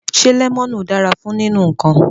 Se lemonu dara fun ninu nkan